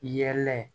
Yɛlɛ